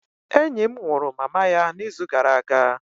Enyi m nwụrụ mama ya n'izu gara aga